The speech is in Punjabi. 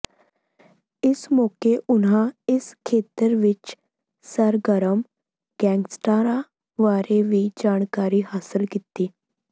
ਇਸ ਮੌਕੇ ਉਨ੍ਹਾਂ ਇਸ ਖੇਤਰ ਵਿੱਚ ਸਰਗਰਮ ਗੈਂਗਸਟਰਾਂ ਬਾਰੇ ਵੀ ਜਾਣਕਾਰੀ ਹਾਸਲ ਕੀਤੀ